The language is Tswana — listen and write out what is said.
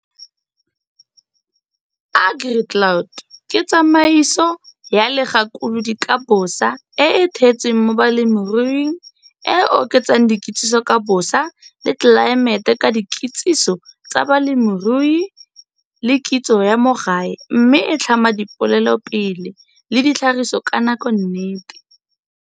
AgriCloud ke tsamaiso ya legakolodi ka bosa e e theetsweng mo bolemiruing e e oketsang dikitsiso ka bosa le tlelaemete ka dikitsiso tsa bolemirui le kitso ya mo gae mme e tlhama dipolelopele le ditlhagiso ka nakonnete.